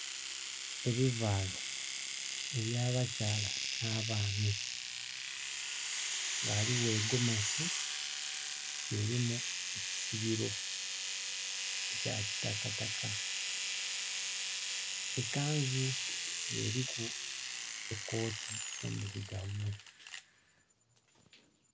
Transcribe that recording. Ebivaalo eby'abakyala nh'abaami, ghaligho egomesi elimu ekisibilo ekya kitakataka, ekanzu nga eliku ekooti endilugavu.